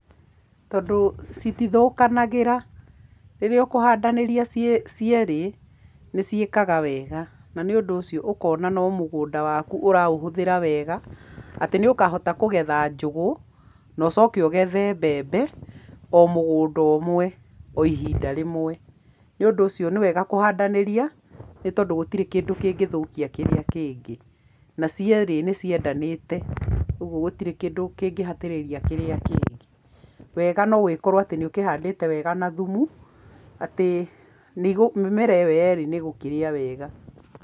Tondũ citithũkanagĩra rĩrĩa ũkũhandanĩra ciĩ cierĩ nĩciĩkaga wega, na nĩ ũndũ ũcio ũkona no mũgũnda waku ũraũhũthĩra wega atĩ nĩũkahota kũgetha njũgũ na ũcoke ũgethe mbembe o mũgũnda umwe, o ihinda rĩmwe. Nĩ ũndũ ũcio nĩwega kũhandanĩrĩa nĩ tondũ gũtire kĩndũ kĩngĩthũkia kĩrĩa kĩngĩ, na ciĩrĩ nĩciendanĩte. Ũguo gũtirĩ kĩndũ kĩngĩ hatĩrĩria kiria kingĩ. Wega nĩgũkorwo nĩũkĩhandĩte wega na thumu atĩ mĩmera ĩyo yerĩ nĩĩgũkĩrĩa wega.